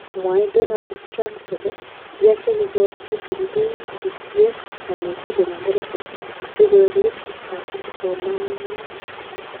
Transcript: Mwae Donald Trump kole; yache kikochi bundukisiek kanetik en America asikorip kipsomaniik